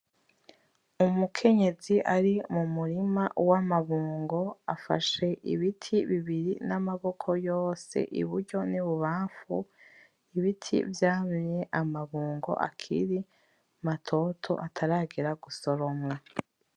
Umukenyezi ari mumurima wamabungo afashe ibiti bibiri namaboko yose iburyo nibubamfu, ibiti vyamye amabungo akiri matoto ataragera gusoromwa .